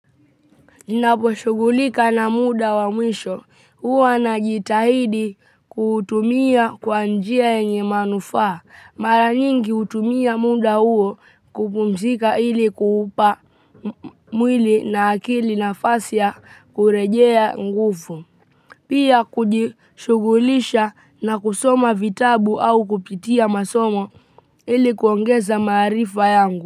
Ninapo shughulika na muda wa mwisho, huwa na jitahidi kuutumia kwa njia yenye manufaa. Mara nyingi hutumia muda huo kupumzika ili kuupa mwili na akili nafasi ya kurejea nguvu. Pia kujishughulisha na kusoma vitabu au kupitia masomo ili kuongeza maarifa yangu.